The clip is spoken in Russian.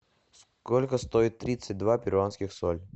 сколько стоит тридцать два перуанских соль